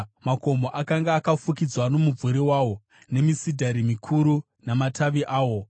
Makomo akanga akafukidzwa nomumvuri wawo, nemisidhari mikuru namatavi awo.